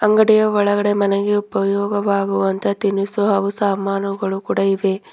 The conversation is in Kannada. ಅಂಗಡಿಯ ಒಳಗಡೆ ಮನೆಗೆ ಉಪಯೋಗವಾಗುವಂತ ತಿನಿಸು ಹಾಗು ಸಾಮಾನುಗಳು ಕೂಡ ಇವೆ.